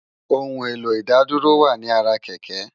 Óoun éló Idádúró wá ni àrá kèkè